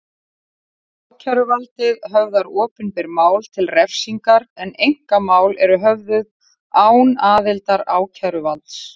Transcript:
Ákæruvaldið höfðar opinber mál til refsingar en einkamál eru höfðuð án aðildar ákæruvalds.